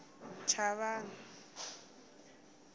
chavani